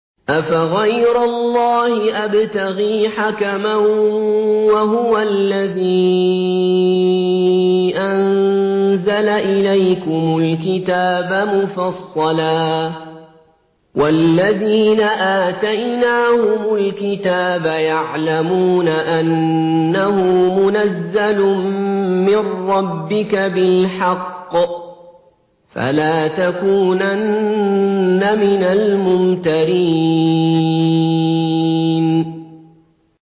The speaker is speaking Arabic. أَفَغَيْرَ اللَّهِ أَبْتَغِي حَكَمًا وَهُوَ الَّذِي أَنزَلَ إِلَيْكُمُ الْكِتَابَ مُفَصَّلًا ۚ وَالَّذِينَ آتَيْنَاهُمُ الْكِتَابَ يَعْلَمُونَ أَنَّهُ مُنَزَّلٌ مِّن رَّبِّكَ بِالْحَقِّ ۖ فَلَا تَكُونَنَّ مِنَ الْمُمْتَرِينَ